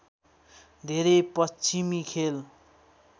धेरै पश्चिमी खेल